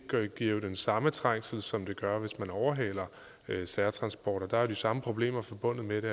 giver jo den samme trængsel som det gør hvis man overhaler særtransporter der er jo de samme problemer forbundet med det